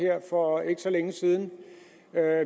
her for ikke så længe siden